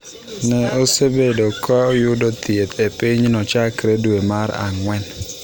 Ne osebedo ka yudo thieth e pinyno chakre dwe mar ang’wen.